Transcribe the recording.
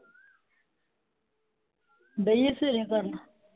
ਹੋਈ ਹੈ ਸੇਵੇਰੇ ਗੱਲ।